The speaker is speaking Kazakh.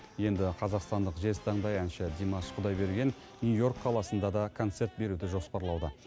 енді қазақстандық жезтаңдай әнші димаш құдайберген нью йорк қаласында да концерт беруді жоспарлауда